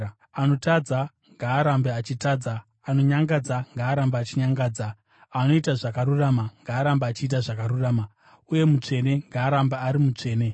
Anotadza ngaarambe achitadza, anonyangadza ngaarambe achinyangadza; anoita zvakarurama ngaarambe achiita zvakarurama; uye mutsvene ngaarambe ari mutsvene.”